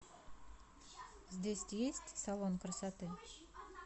здесь есть салон красоты